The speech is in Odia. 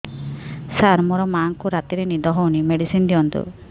ସାର ମୋର ମାଆଙ୍କୁ ରାତିରେ ନିଦ ହଉନି ମେଡିସିନ ଦିଅନ୍ତୁ